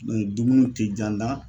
dumuni te ja n da